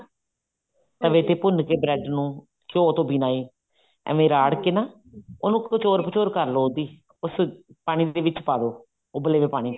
ਤਵੇ ਤੇ ਭੁੰਨ ਕੇ bread ਨੂੰ ਘਿਓ ਤੋਂ ਬਿਨਾ ਹੀ ਏਵੇਂ ਰਾਡ ਕੇ ਨਾ ਉਹਨੂੰ ਕ੍ਚੋਰ ਭ੍ਚੋਰ ਕਰਲੋ ਉਹਦੀ ਉਸ ਪਾਣੀ ਦੇ ਵਿੱਚ ਪਾਦੋ ਉਬਲੇ ਹੋਏ ਪਾਣੀ ਦੇ ਵਿੱਚ